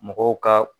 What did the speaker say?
Mɔgɔw ka